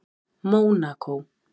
Mónakó